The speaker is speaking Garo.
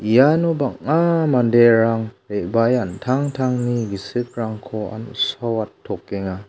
iano bang·a manderang re·bae an·tangtangni gisikrangni an·saoatokenga.